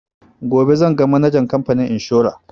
Gobe zan ga manajan kamfanin inshora